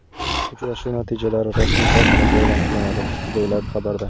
Uchrashuv natijalari rasmiy saytimizda e’lon qilinadi”, deyiladi xabarda.